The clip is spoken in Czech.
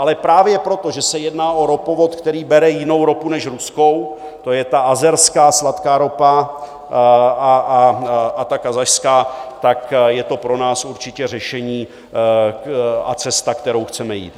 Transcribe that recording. Ale právě proto, že se jedná o ropovod, který bere jinou ropu než ruskou, to je ta azerská sladká ropa a ta kazašská, tak je to pro nás určitě řešení a cesta, kterou chceme jít.